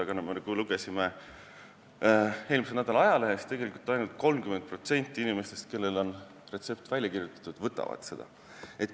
Siiski oli nii, nagu me lugesime ka eelmise nädala ajalehest, et tegelikult ainult 30% inimestest, kellel on retsept välja kirjutatud, võtavad seda ravimit.